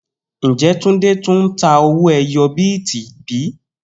Njẹ Tunde tun n ta owó ẹyọ bíìtì bi?